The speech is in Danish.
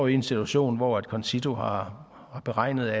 i en situation hvor concito har beregnet